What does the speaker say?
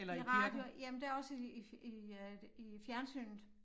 I radio jamen der også i i øh i fjernsynet